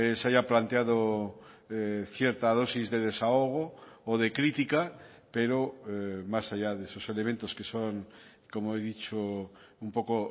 se haya planteado cierta dosis de desahogo o de crítica pero más allá de esos elementos que son como he dicho un poco